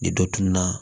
Ni dɔ tununa